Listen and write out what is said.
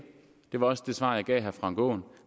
var også det svar jeg gav herre frank aaen